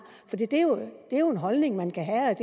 det er jo en holdning man kan have